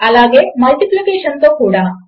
అలాగే మల్టిప్లికేషన్తో కూడ